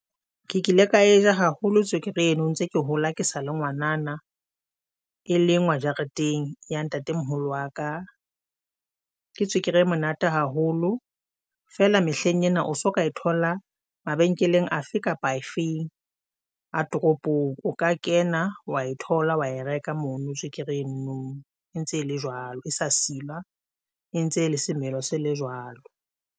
Ke kile ka e ja haholo tswekere eno ntse ke hola ke sa le ngwanana e lengwa jareteng ya ntatemoholo wa ka.Ke tswekere e monate haholo fela mehleng ena o so ka e thola mabenkeleng afe kapa afeng a toropong, o ka kena wa e thola wa e reka mono tswekere no e ntse ele jwalo esa a silwa e ntse e le semelo se le jwalo.